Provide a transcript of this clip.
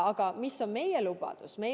Aga mis on meie lubadus?